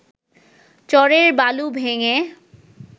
চরের বালু ভেঙে